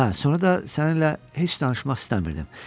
Hə, sonra da səninlə heç danışmaq istəmirdim.